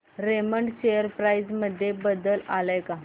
Raymond share price मध्ये बदल आलाय का